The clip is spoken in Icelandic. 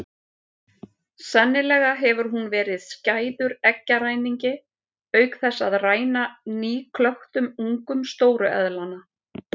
Sennilega hefur hún verið skæður eggjaræningi auk þess að ræna nýklöktum ungum stóru eðlanna.